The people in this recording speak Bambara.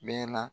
Bɛɛ na